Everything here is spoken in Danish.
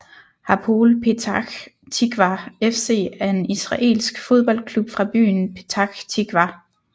Hapoel Petach Tikvah FC er en israelsk fodboldklub fra byen Petach Tikvah